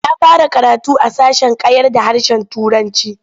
Ya fara karatu a sashen kyarda harshen Turanci.